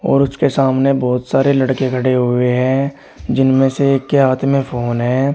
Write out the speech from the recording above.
और उसके सामने बोहोत सारे लड़के खड़े हुए हैं जिनमें से एक के हाथ में फोन है।